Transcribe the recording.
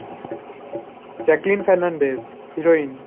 Jacqueline Fernandez, heroin.